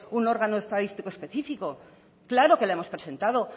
un órgano estadístico específico claro que la hemos presentado